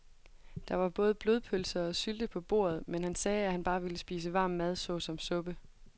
Der var både blodpølse og sylte på bordet, men han sagde, at han bare ville spise varm mad såsom suppe.